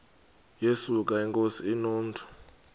yesuka inkosi inomntu